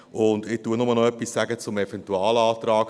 Ich sage nur noch etwas zum Eventualantrag: